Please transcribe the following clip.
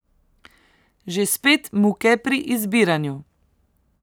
Že spet muke pri izbiranju!